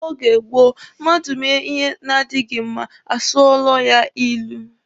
N'oge gboo mmadụ mee ihe na-adịghi mma, a sụọla ya ilu.